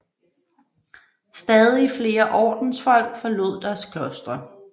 Stadig flere ordensfolk forlod deres klostre